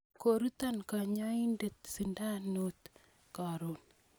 koruto kanyaindet sindanoit karon